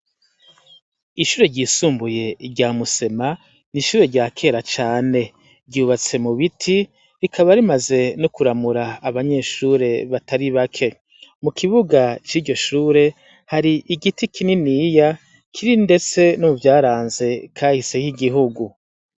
Ishure ryisumbuye rya Musema ni ishure rya kera cane. Ryubatse mu biti, rikaba rimaze no kuramura abanyeshure batatu bake. Mu kibuga c'iryo shure, hari igiti kininiya, kiri ndetse no mu vyaranze kahise k'igihugu.